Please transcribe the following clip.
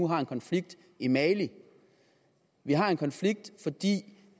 har en konflikt i mali vi har en konflikt fordi